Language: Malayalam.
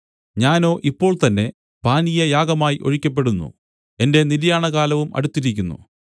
ഞാനോ ഇപ്പോൾതന്നെ പാനീയയാഗമായി ഒഴിക്കപ്പെടുന്നു എന്റെ നിര്യാണകാലവും അടുത്തിരിക്കുന്നു